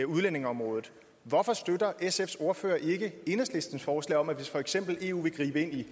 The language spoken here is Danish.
udlændingeområdet hvorfor støtter sfs ordfører ikke enhedslistens forslag om at hvis for eksempel eu vil gribe ind i